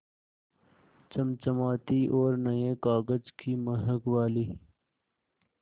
चमचमाती और नये कागज़ की महक वाली